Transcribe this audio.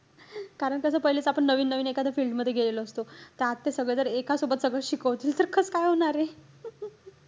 कारण त्याच पहिलेच, आपण नवीन-नवीन एखाद field मध्ये गेलेलो असतो. त्यात ते सगळं जर एका सोबत सगळंच शिकवतील तर काय होणारे.